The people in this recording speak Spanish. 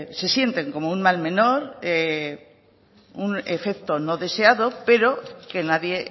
se sienten como un mal menor un efecto no deseado pero que nadie